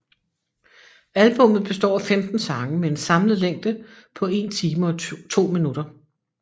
Albummet består af 15 sange med en samlet længde på 1 time og 2 min